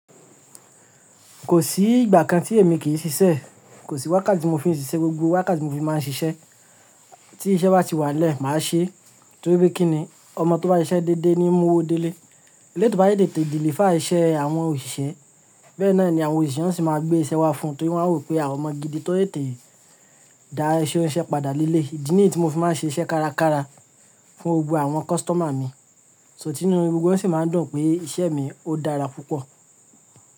Kò sí ìgbà kan tí èmi kì í ṣiṣẹ́. Kò sí wákàtí mo fi ń ṣiṣẹ́, gbogbo wákàtí mo fi máa ń ṣiṣẹ́. Tí iṣẹ́ bá ti wà lẹ́, màá ṣe é torí pé kí ni? Ọmọ tó bá siṣẹ́ dédé ni mú owó délé. Eléyi tò bá yé tètè deliver iṣẹ́ àwọn òṣìṣẹ́, bẹ́ẹ̀ náà ni àwọn òṣìṣẹ́ sì máa gbé iṣẹ́ wá fún un torí wọ́n á rò pé àwọn ọmọ gidi tó lè tètè dá iṣẹ́ wọn ṣẹ́ padà lílé. Ìdí nì tí mo fi máa ń ṣe iṣẹ́ kárakára fún gbogbo àwọn customer mi, sọ́ tinu gbogbo wọn sì máa ń dùn pé iṣẹ́ mi ó dára púpọ̀